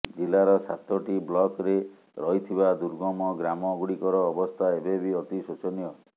ଜିଲ୍ଲାର ସାତୋଟି ବ୍ଲକରେ ରହିଥିବା ଦୁର୍ଗମ ଗ୍ରାମ ଗୁଡିକର ଅବସ୍ଥା ଏବେ ବି ଅତି ଶୋଚନୀୟ